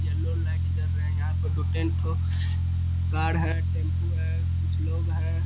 Yellow light जल रही है यहाँ पर दो टेंट ठो कार है टेंपो है कुछ लोग है।